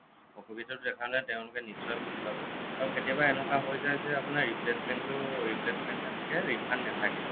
অসুবিধাটো দেখালে তেওঁলোকে নিশ্চয় বুজি পাব আৰু কেতিয়াবা এনেকুৱা হ'য় যায় যে আপোনাৰ replacement টো replacement হে থাকে refund নাথাকে